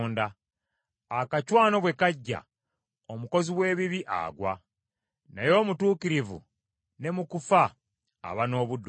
Akacwano bwe kajja, omukozi w’ebibi agwa, naye omutuukirivu ne mu kufa aba n’obuddukiro.